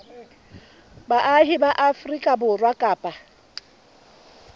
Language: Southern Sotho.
baahi ba afrika borwa kapa